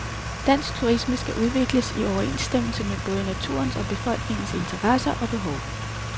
Dansk turisme skal udvikles i overensstemmelse med både naturens og befolkningens interesser og behov.